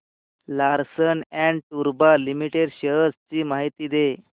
Larsen and टुर्बो limited shares ची माहिती दे